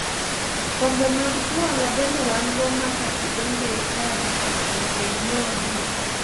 Kombe mag juala bende wango ma ka idonjo e chadi to nyaka inyiew adek.